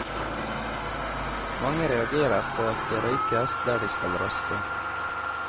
Mange reagerer på at det røykes der de skal raste.